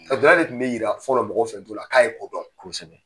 A daduluya de tun bɛ jira fɔlɔ mɔgɔw fɛ k'a ye ko dɔn .